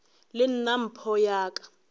le nna mpho ya ka